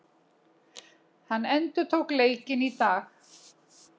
Hann endurtók leikinn í dag